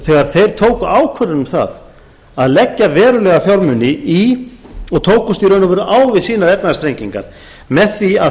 þegar þeir tóku ákvörðun um það að leggja verulega fjármuni í og tókust í raun og veru á við sínar efnahagsþrengingar með því að